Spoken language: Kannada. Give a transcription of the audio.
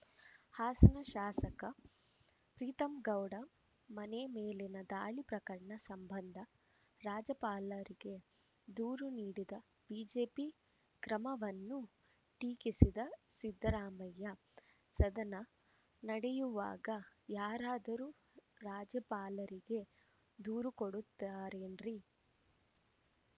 ಹಾಸನ ಶಾಸಕ ಪ್ರೀತಂಗೌಡ ಮನೆ ಮೇಲಿನ ದಾಳಿ ಪ್ರಕರಣ ಸಂಬಂಧ ರಾಜ್ಯಪಾಲರಿಗೆ ದೂರು ನೀಡಿದ ಬಿಜೆಪಿ ಕ್ರಮವನ್ನೂ ಟೀಕಿಸಿದ ಸಿದ್ದರಾಮಯ್ಯ ಸದನ ನಡೆಯುವಾಗ ಯಾರಾದರೂ ರಾಜ್ಯಪಾಲರಿಗೆ ದೂರು ಕೊಡುತ್ತಾರೇನ್ರಿ